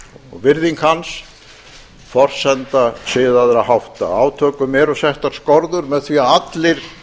og virðing hans forsenda siðaðra hátta átökum eru settar skorður með því að allir